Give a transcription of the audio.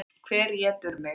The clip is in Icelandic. Hver étur mig?